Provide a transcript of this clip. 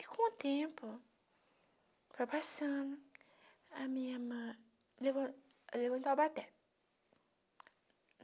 E com o tempo... Foi passando... A minha irmã... Levan levou em Taubaté